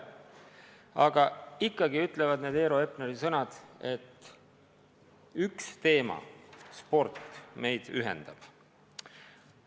Aga ikkagi ütlevad need Eero Epneri sõnad, et üks teema – sport – meid ühendab.